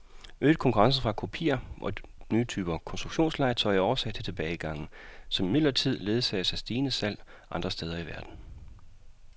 Øget konkurrence fra kopier og nye typer konstruktionslegetøj er årsag til tilbagegangen, som imidlertid ledsages af stigende salg andre steder i verden.